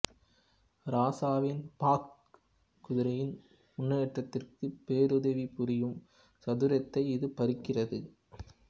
ராசாவின் பக்க்க் குதிரையின் முன்னேற்றத்திற்கு பேருதவி புரியும் சதுரத்தை இது பறிக்கிறது